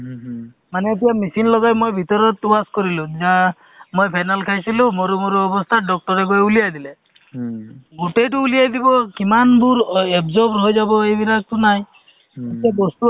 to তেওঁলোককো বুজোৱা হয় যে আপোনালোকে এনেকে থাকক এনেকে কৰিব লাগিব বা আপোনালোকক খোৱা-বোৱা ভাল ৰাখিব লাগিব fruit খাওক মানে বো মানে তোমাৰ যি যিটো আছে তোমাৰ সেহ্ সেইটো সময়ত তোমাৰ hemoglobin check হয়